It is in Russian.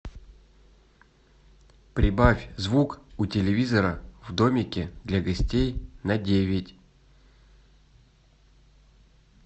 прибавь звук у телевизора в домике для гостей на девять